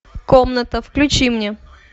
комната включи мне